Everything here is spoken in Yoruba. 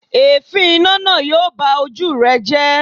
Èéfín iná náà yóò ba ojú rẹ jẹ́.